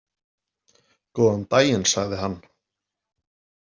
Góðan daginn, sagði hann.